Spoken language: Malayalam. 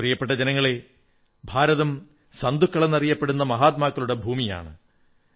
പ്രിയപ്പെട്ട ജനങ്ങളേ ഭാരതം സന്തുക്കളെന്നറിയപ്പെടുന്ന മഹാത്മാക്കളുടെ ഭൂമിയാണ്